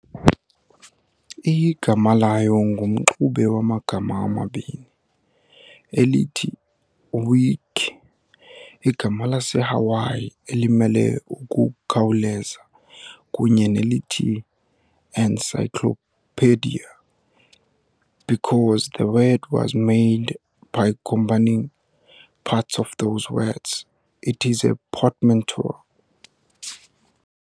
Igama layo ngumxube wamagama amabini, elithi "wiki", igama laseHawai elimele 'ukukhawuleza' kunye nelithi and "encyclopedia.". Because the word was made by combining parts of those words, it is a portmanteau.